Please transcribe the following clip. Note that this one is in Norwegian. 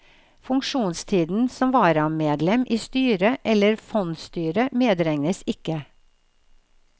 Funksjonstiden som varamedlem i styre eller fondsstyre medregnes ikke.